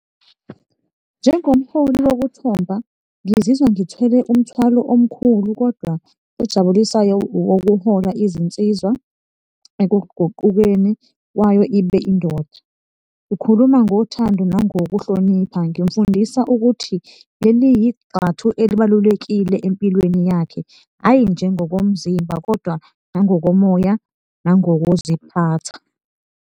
Njengomholi wokuthomba ngizizwa ngithwele umthwalo omkhulu kodwa ojabulisayo wokuhola izinsizwa ekuguqukeni kwayo ibe indoda. Ngikhuluma ngothando nangokuhlonipha ngimfundisa ukuthi leli igxathu elibalulekile empilweni yakhe, hhayi nje ngokomzimba kodwa nangokomoya nangokuziphatha.